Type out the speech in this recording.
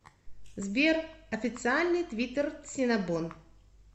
сбер официальный твиттер синнабон